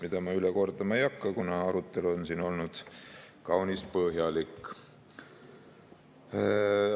Seda kõike ma üle kordama ei hakka, kuna siinne arutelu oli kaunis põhjalik.